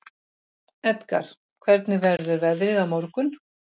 Edgar, hvernig verður veðrið á morgun?